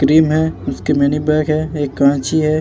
Cream है उसकी mini bag है। एक कांची है।